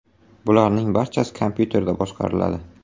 Bularning barchasi kompyuterda boshqariladi.